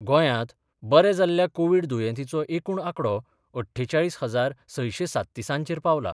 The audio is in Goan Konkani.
गोंयांत बरे जाल्ल्या कोव्हीड दुयेंतींचो एकूण आकडो अठ्ठेचाळीस हजार सयशें सात्तिसांचेर पावला.